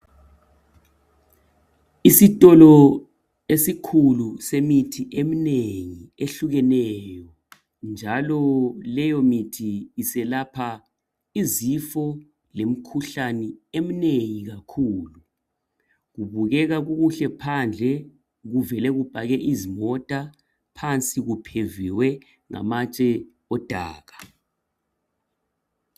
Isitolo esikhulu semithi eminengi ehlukeneyo, njalo leyo mithi iselapha izifo lemkhuhlane eminengi kakhulu. Kubukeka kukuhle phandle kuvele kupakwe izimota phansi kupheviwe ngamatshe odaka.